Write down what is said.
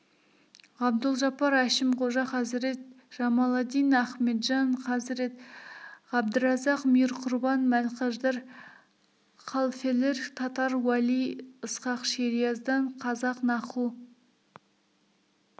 ғабдұлжаппар әшімқожа хазірет жамаладдин ахметжан хазірет ғабдыразақ мирқұрбан мәлкаждар халфелер татар уәли ысқақ шериаздан қазақ наху